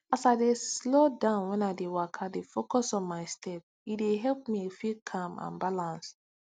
as i dey slow down when i dey waka dey focus on my step e dey help me feel calm and balanced